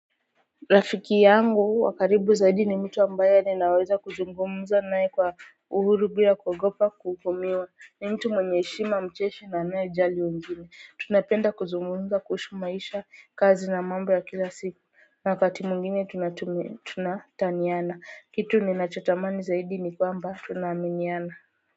Rafiki yangu wa karibu zaidi ni mtu ambaye ninaweza kuzungumza naye kwa uhuru bila kuogopa kuhukumiwa ni mtu mwenye heshima mcheshi na anayejali wengine tunapenda kuzungumza kuhusu maisha, kazi na mambo ya kila siku na wakati mwingine tunataniana kitu ninachotamani zaidi ni kwamba tunaaminiana.